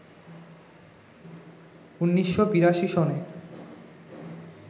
১৯৮২ সনে